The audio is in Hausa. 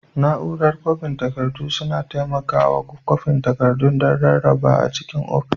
Nau'rar kwafin takardu suna taimakawa kwafin takardu don rarrabawa a cikin ofis.